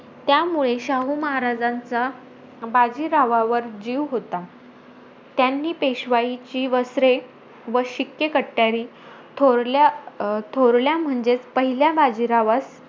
त्यामुळे शाहू महाराजांचा बाजीरावावर जीव होता. त्यांनी पेशवाईची वस्त्रे व शिक्के कट्यारी थोरल्या अं थोरल्या म्हणजेचं पहिल्या बाजीरावास,